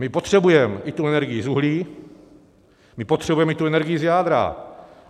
My potřebujeme i tu energii z uhlí, my potřebujeme i tu energii z jádra.